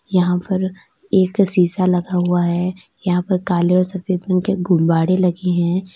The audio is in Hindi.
यहां पर एक शीशा लगा हुआ है यहां पर काले और सफेद रंग के गुब्बाड़े लगे है।